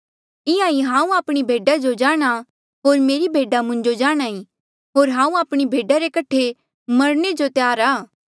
इंहां ईं हांऊँ आपणी भेडा जो जाणहां होर मेरी भेडा मुंजो जाणहां ईं होर हांऊँ आपणी भेडा रे कठे मरणे जो तैयार आ